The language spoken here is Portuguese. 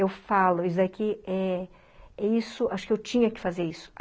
Eu falo isso aqui, eh isso acho que eu tinha que fazer isso.